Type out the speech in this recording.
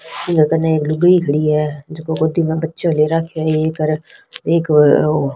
ई कने एक लुगाई खड़ी है जेको गोदी मा बच्चो ले राख्यो है ये करा एक --